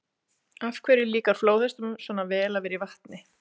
Af hverju líkar flóðhestum svona vel að vera í vatni?